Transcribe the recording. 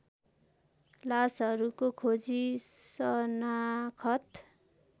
लासहरूको खोजी सनाखत